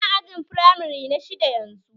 Yana ajin firamare na shidda yanzu